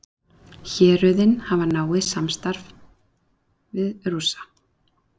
Héruðin hafa náið samstarf við Rússa